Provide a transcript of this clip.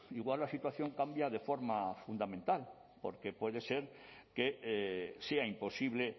igual la situación cambia de forma fundamental porque puede ser que sea imposible